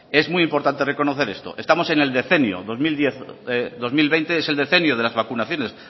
es muy importante reconocer esto estamos en el decenio dos mil diez dos mil veinte es el decenio de la vacunaciones